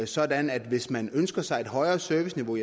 sådan at hvis man ønsker sig et højere serviceniveau